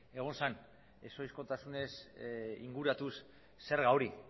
egon zen ez ohizkotasunez inguratuz zerga hori